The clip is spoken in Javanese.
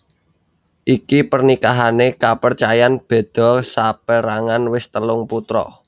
Iki pernikahané kapercayan beda saperangan wis telung putra